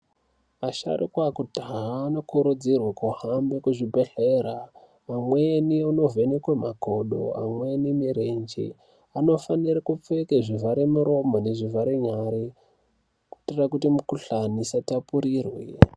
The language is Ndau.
Vasharukwa vekudhaya vanokurudzirwa kuhambe kuzvibhedhlera umweni unovhenekwe makodo amweni murenje anofanire kupfeke zvivhare muromo nezvivhare nyari kuitira kuti mukhuhlani isatapurirwe.